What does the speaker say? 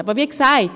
Aber wie gesagt: